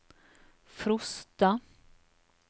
Frosta